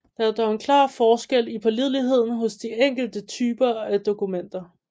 Der er dog en klar forskel i pålideligheden hos de enkelte typer af dokumenter